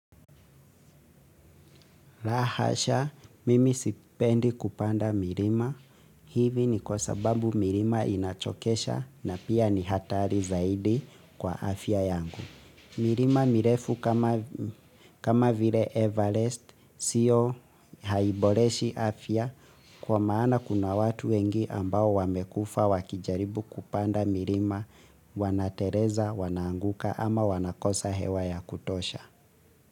Lahasha, mimi sipendi kupanda milima. Hivi ni kwa sababu milima inachokesha na pia ni hatari zaidi kwa afya yangu. Milima mirefu kama vile Everest siyo haiboreshi afya kwa maana kuna watu wengi ambao wamekufa wakijaribu kupanda milima wanateleza, wanaanguka ama wanakosa hewa ya kutosha.